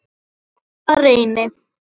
Afa Reyni.